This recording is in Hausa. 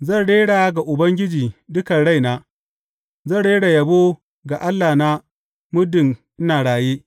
Zan rera ga Ubangiji dukan raina; zan rera yabo ga Allahna muddin ina raye.